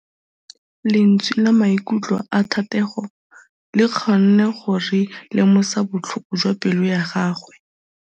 Lentswe la maikutlo a Thategô le kgonne gore re lemosa botlhoko jwa pelô ya gagwe.